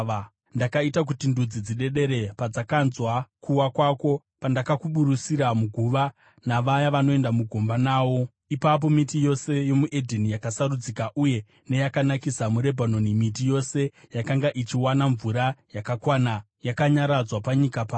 Ndakaita kuti ndudzi dzidedere padzakanzwa kuwa kwako pandakuburusira muguva navaya vanoenda mugomba nawo. Ipapo miti yose yomuEdheni, yakasarudzika uye neyakanakisa muRebhanoni, miti yose yakanga ichiwana mvura yakakwana, yakanyaradzwa panyika pasi.